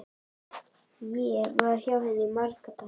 Ég var hjá henni í marga daga.